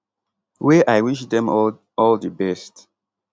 wey i wish dem all all di best